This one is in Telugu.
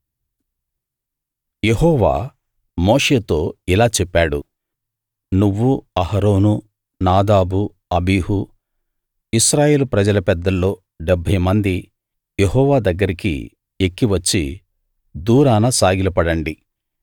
యెహోవా మోషేతో ఇలా చెప్పాడు నువ్వు అహరోను నాదాబు అబీహు ఇశ్రాయేలు ప్రజల పెద్దల్లో 70 మంది యెహోవా దగ్గరికి ఎక్కి వచ్చి దూరాన సాగిలపడండి